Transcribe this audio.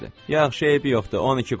Yaxşı, eybi yoxdur, 12 qoy.